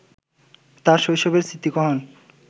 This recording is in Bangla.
তাঁর শৈশবের স্মৃতিকহন